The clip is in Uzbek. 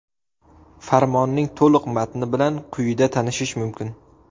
Farmonning to‘liq matni bilan quyida tanishish mumkin.